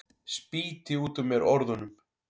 Spýti út úr mér orðunum.